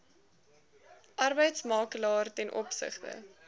arbeidsmakelaar ten opsigte